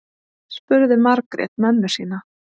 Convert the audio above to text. spurði margrét mömmu sína